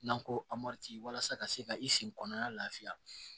N'an ko a ma walasa ka se ka i sen kɔnɔnana lafiya